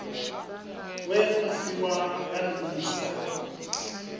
we a fhiwa nga minisita